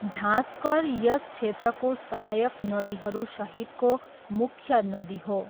झाँसकर यस क्षेत्रको सहायक नदीहरूसहितको मुख्य नदी हो।